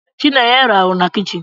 Chinenye raaru na kichin.